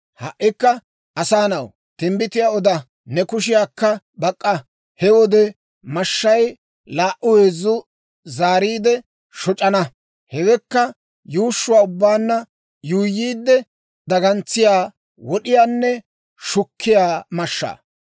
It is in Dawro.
« ‹Ha"ikka asaa na'aw, timbbitiyaa oda; ne kushiyaakka bak'k'a. He wode mashshay laa"u heezzu zaariide shoc'ana; hewekka yuushshuwaa ubbaanna yuuyyiide, dagantsiyaa, wod'iyaanne shukkiyaa mashshaa.